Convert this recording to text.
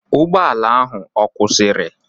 Ụgbọala ahụ akwụsịrị?